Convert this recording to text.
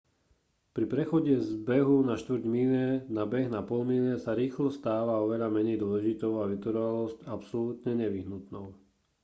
pri prechode z behu na štvrť míle na beh na pol míle sa rýchlosť stáva oveľa menej dôležitou a vytrvalosť absolútne nevyhnutnou